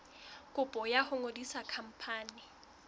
kopo ya ho ngodisa khampani